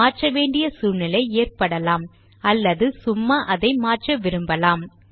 மாற்ற வேண்டிய சூழ்நிலை ஏற்படலாம் அல்லது சும்மா அதை மாற்ற விரும்பலாம்